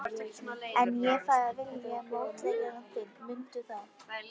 En ég fæ að velja mótleikara þinn, mundu það.